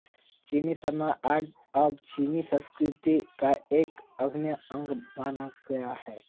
चीनी martial art अब चीनी संस्कृति का एक अभिन्न अंग बन गया है